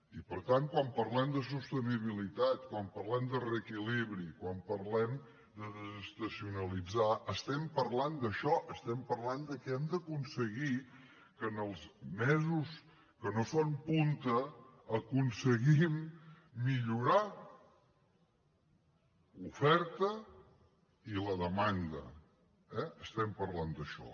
i per tant quan parlem de sostenibilitat quan parlem de reequilibri quan parlem de desestacionalitzar estem parlant d’això estem parlant de que hem d’aconseguir que els mesos que no són punta aconseguim millorar l’oferta i la demanda eh estem parlant d’això